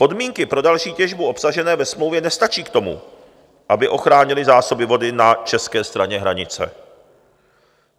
Podmínky pro další těžbu obsažené ve smlouvě nestačí k tomu, aby ochránily zásoby vody na české straně hranice.